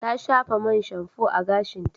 Ta shafa mai shamfo a gashinta.